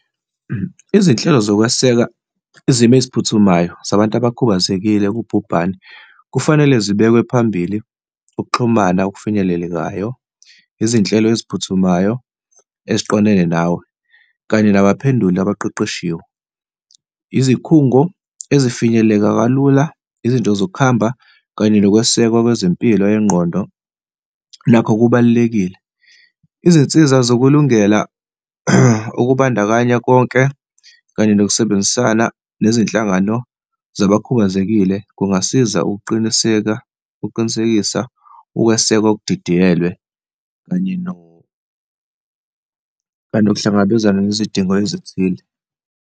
Izinhlelo zokweseka izimo eziphuthumayo zabantu abakhubazekile kubhubhane kufanele zibekwe phambili, ukuxhumana obufinyelelekayo, izinhlelo eziphuthumayo eziqondene nawe, kanye nabo baphenduli abaqeqeshiwe. Izikhungo ezifinyeleleka kalula, izinto zokuhamba kanye nokwesekwa wezempilo yengqondo nakho kubalulekile, izinsiza zokulungela okubandakanya konke, kanye nokusebenzisana nezinhlangano zabakhubazekile kungasiza ukuqiniseka, ukuqinisekisa ukwesekwa oludidiyelwe, kanye kanye nokuhlangabezana nezidingo ezithile.